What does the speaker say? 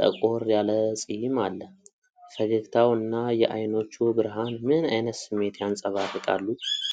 ጠቆር ያለ ጺም አለ። ፈገግታው እና የዓይኖቹ ብርሃን ምን ዓይነት ስሜት ያንጸባርቃል?